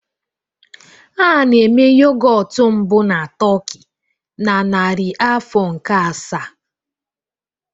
A na-eme yogọt mbụ na Turkey na narị afọ nke asaa